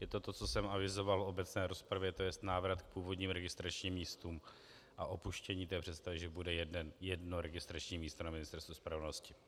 Je to to, co jsem avizoval v obecné rozpravě, to je návrat k původním registračním místům a opuštění té představy, že bude jedno registrační místo na Ministerstvu spravedlnosti.